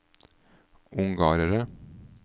ungarere